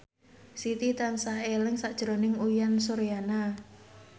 Siti tansah eling sakjroning Uyan Suryana